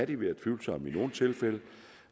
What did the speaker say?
være tvivlsomme i nogle tilfælde